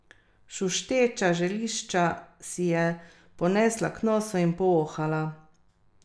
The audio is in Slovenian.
Šušteča zelišča si je ponesla k nosu in povohala.